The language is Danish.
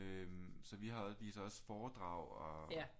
Øh så vi viser også foredrag og